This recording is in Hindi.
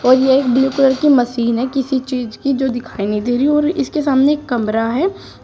और यह ब्लू कलर की मशीन है किसी चीज की जो दिखाई नहीं दे रही और इसके सामने कमरा है।